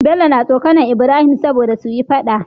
Bello na tsokAnar ibrahim sobada suyi faɗa